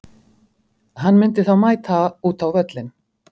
Hann myndi þá mæta út á völlinn.